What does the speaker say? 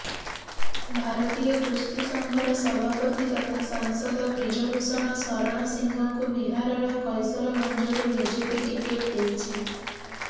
ଭାରତୀୟ କୁସ୍ତି ସଂଘର ସଭାପତି ତଥା ସାଂସଦ ବ୍ରିଜଭୂଷଣ ଶରଣ ସିଂହଙ୍କୁ ବିହାରର କୈସରଗଞ୍ଜରୁ ବିଜେପି ଟିକେଟ୍ ଦେଇଛି